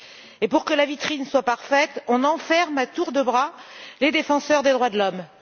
Et pour que la vitrine soit parfaite, on enferme à tour de bras les défenseurs des droits de l'homme.